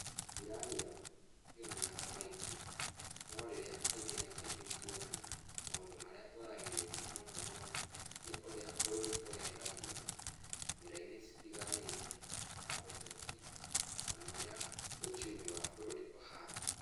Jirani yakwa tũtionanaga maingĩ, no rĩrĩa kaingĩ na kaingĩ tũonana, maũndũ marĩa tũaragĩrĩria mũno mũno nĩ ũrĩa bũrũri ũregariũra, njira-inĩ citiganĩte, na ũteti, o na ũrĩa uchumi wa bũrũri ũhana.